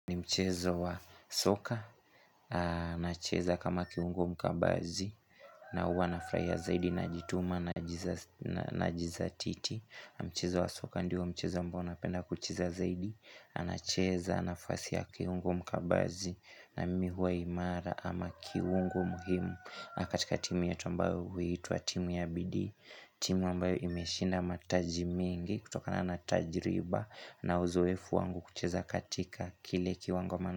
Ni mchezo wa soka, nacheza kama kiungo mkabazi na uwa nafurahia zaidi najituma najizatiti Mchezo wa soka ndio mchezo ambao napenda kucheza zaidi, nacheza, nafasi ya kiungo mkabazi na mi huwa imara ama kiungo muhimu katika timu yetu ambao huitwa timu ya bidii, timu ambayo imeshinda mataji mingi kutokana na tajriba na uzoefu wangu kucheza katika Kile kiwango mana.